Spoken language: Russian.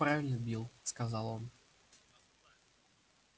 правильно билл сказал он